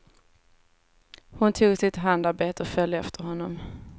Hon tog sitt handarbete och följde efter honom.